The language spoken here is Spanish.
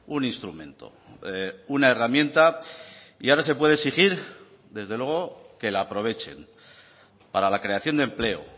un instrumento una herramienta y ahora se puede exigir desde luego que la aprovechen para la creación de empleo